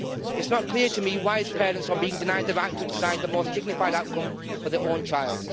It is not clear to me why his parents are being denied the right to decide the most dignified outcome for their own child.